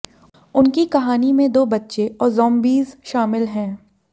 उनकी कहानी में दो बच्चे और जॉम्बीज़ शामिल हैं